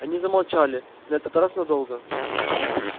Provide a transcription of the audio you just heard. они замолчали на этот раз надолго